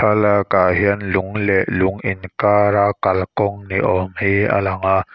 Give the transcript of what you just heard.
thlalakah hian lung leh lung inkara kalkawng ni awm hi a lang a.